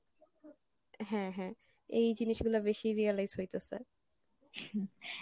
হ্যাঁ হ্যাঁ এই জিনিস গুলো বেশি realise হইতেসে।